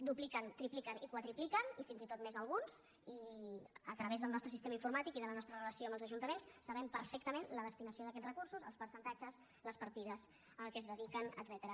dupliquen tripliquen i quadrupliquen i fins i tot més alguns i a través del nostre sistema informàtic i de la nostra relació amb els ajuntaments sabem perfectament la destinació d’aquests recursos els percentatges les partides a què es dediquen etcètera